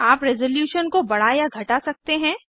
आप रेसोलुशन को बढ़ा या घटा सकते हैं